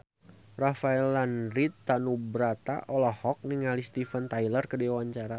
Rafael Landry Tanubrata olohok ningali Steven Tyler keur diwawancara